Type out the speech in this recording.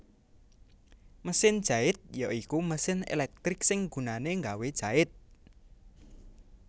Mesin jait ya iku mesin elektrik sing gunané gawé njait